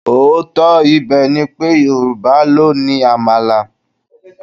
Òótọ́ ibẹ̀ ni pé, Yorùbá ló ni Àmàlà.